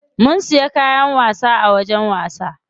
Mun siya kayan wasa a wajen wasa.